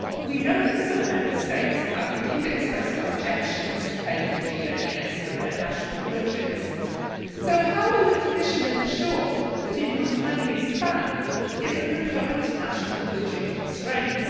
We know that some Member States have indeed expressed objections to paying for GMES from their national budgets, so how will the Commission ensure that enough money is found, given the current national budget constraints?